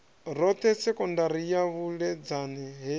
roṱhe sekondari ya vuledzani he